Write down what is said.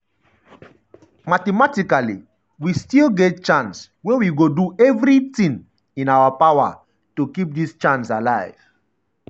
mathematically we still um get chance wey we go do everitin um in our power um to keep dis chance alive.”